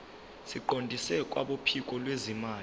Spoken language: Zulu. siqondiswe kwabophiko lwezimali